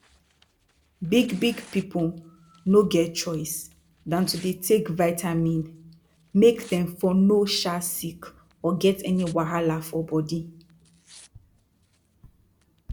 big big pipu no get choice dan to dey take vitamin make dem for no um sick or get any wahala for bodi